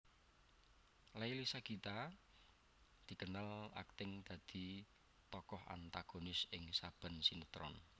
Leily Sagita dikenal akting dadi tokoh antagonis ing saben sinetron